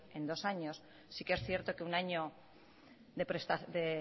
en dos años sí que es cierto que un año de